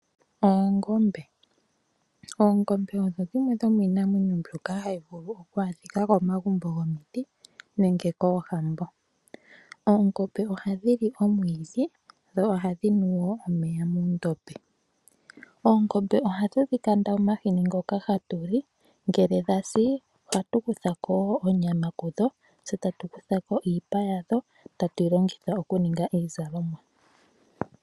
Oongombe Oongombe odho dhimwe dhomiinamwenyo mbyoka hayi vulu oku adhika komagumbo gomiti nenge koohambo. Oongombe ohadhi li omwiidhi dho ohadhi nu wo omeya muundombe. Oongombe ohatu dhi kanda omahini ngoka hatu li ngele dha si ohatu kutha ko wo oonyama kudho tse tatu kutha ko iipa tatu yi longitha okuninga iizalomwa.